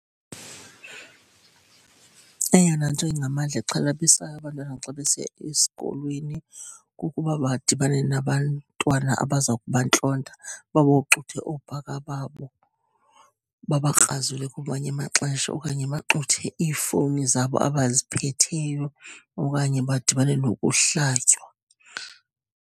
Eyona nto ingamandla exhalabisayo abantwana xa besiya esikolweni kukuba badibane nabantwana abaza kubantlonta, baboxuthe oobhaka babo, babakrazule ngamanye amaxesha okanye baxuthe iifowuni zabo abaziphetheyo, okanye badibane nokuhlatywa.